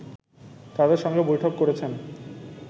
তাদের সঙ্গে বৈঠক করেছেন